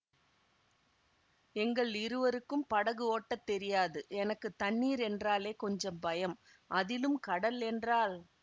எங்கள் இருவருக்கும் படகு ஓட்டத் தெரியாது எனக்கு தண்ணீர் என்றாலே கொஞ்சம் பயம் அதிலும் கடல் என்றால்